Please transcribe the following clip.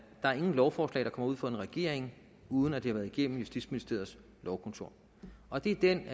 egentligt lovforslag er kommer ud fra en regering uden at det har været igennem justitsministeriets lovkontor og det er den